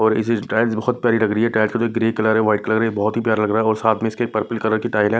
और इस टाइल्स बहोत प्यारी लग रही है टाइल्स का जो ग्रे कलर व्हाईट कलर हैं बहोत ही प्यारा लग रहा और साथ में इसके पर्पल कलर की टाइल्स है।